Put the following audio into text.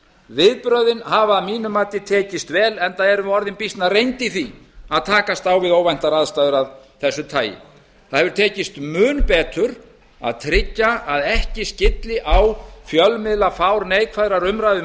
viðbrögðin hafa að mínu mati tekist vel enda erum við orðin býsna reynd í því að takast á við óvæntar aðstæður af þessu tagi það hefur tekist mun betur að tryggja að ekki skylli á fjölmiðlafár neikvæðrar umræðu um